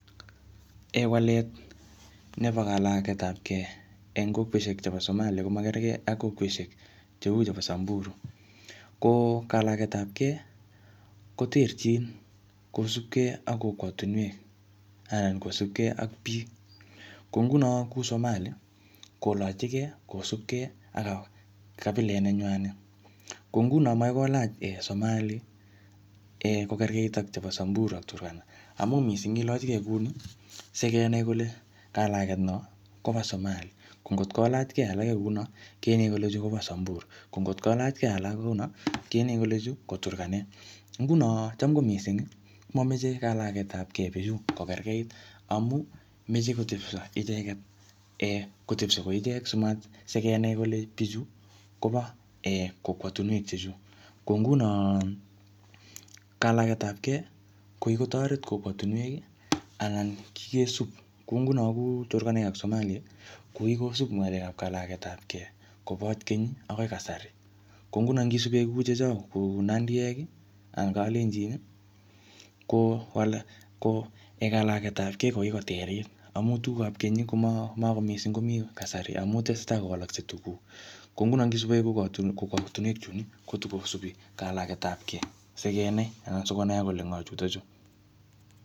Walet nebo kalagetapkei eng kokweshek chebo Somali komakerkei ak kokweshek cheu chebo Samburu. Ko kalagetapkei koterchin kosupkei ak kokwatunwek anan kosupkei ak biik. Kou nguno kuu Somali, kolachikei kosupkei ak kabilet nenywanet. Kou nguno makoi kolach [um]Somali, kokerkeit ak chebo Samburu ak Turkana. Amu missing ilachikei kuni, sikenai kole kalaget no kobo Somali. Ko ngotkolachkei alake kouno, kenae kole chu kobo Samburu. Ko ngotkolachkei alak kouno , kenae kele chu ko Turkanek. Nguno cham ko missing, mameche kalagetapkei bichu kokerkeit. Amu, meche kotepso icheket um kotepso ko ichek, simat-sikenai kole bichu kobo um kokwatunwek che chuu. Ko nguno, kalagetapkei, ko kikotoret kokwotunwek, anan kikesub. Kou nguno ku Turkanek ak Somali, ko kikosup ng'alekap kalagetapkei kobot keny akoi kasari. Ko nguno ngisube kou chechok kou nandiek anan kalenjin, ko kokalagetapkei ko kikoterit. Amu tugukap keny, koma-mako misiiing komii kasari amu tesetai kowalakse tuguk. Ko nguno ngisube kou kokwotunwek chun, kotikosubi kalagetapkei. Sikenai anan sikonai kole ngo chutochu.